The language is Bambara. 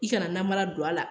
I kana namara don a la.